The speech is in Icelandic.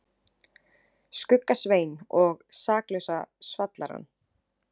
Skugga-Svein og Saklausa svallarann.